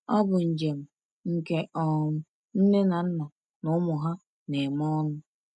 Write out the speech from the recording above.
Ọ bụ njem nke um nne na nna na ụmụ ha na-eme ọnụ.